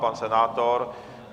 Pan senátor?